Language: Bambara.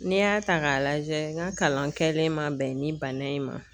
N'i y'a ta k'a lajɛ n ka kalan kɛlen ma bɛn ni bana in ma .